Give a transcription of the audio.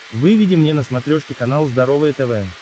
выведи мне на смотрешке канал здоровое тв